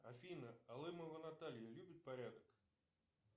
афина алымова наталья любит порядок